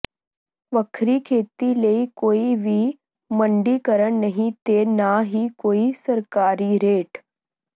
ਵੱਖਰੀ ਖੇਤੀ ਲਈ ਕੋਈ ਵੀ ਮੰਡੀਕਰਨ ਨਹੀਂ ਤੇ ਨਾ ਹੀ ਕੋਈ ਸਰਕਾਰੀ ਰੇਟ